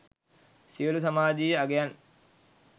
සියළු සමාජයීය අංගයන්